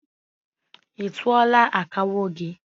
I tuọla akawo gị?